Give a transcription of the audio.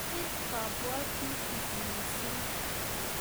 Menyit kabwatutik missing